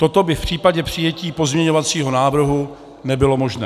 Toto by v případě pojetí pozměňovacího návrhu nebylo možné.